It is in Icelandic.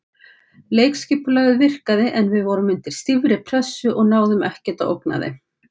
Leikskipulagið virkaði en við vorum undir stífri pressu og náðum ekkert að ógna þeim.